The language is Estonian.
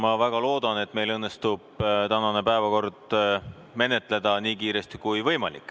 Ma väga loodan, et meil õnnestub tänane päevakord menetleda nii kiiresti kui võimalik.